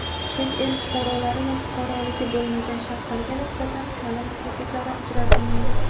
Chet el fuqarolari va fuqaroligi bo‘lmagan shaxslarga nisbatan taʼlim kreditlari ajratilmaydi.